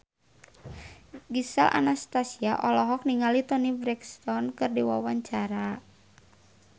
Gisel Anastasia olohok ningali Toni Brexton keur diwawancara